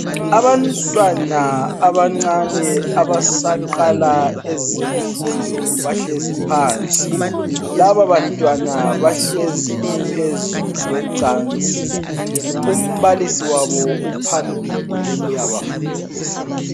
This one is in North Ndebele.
Abantwana abancane abasaqala ezemfundo bahlezi phansi, laba bantwana bahlezi phezu kwecansi, umbalisi wabo uphambili uyabafundisa.